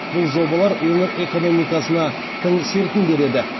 бұл жобалар өңір экономикасына тың серпін береді